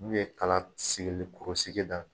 N'u ye kala sigilen ko sigi dan.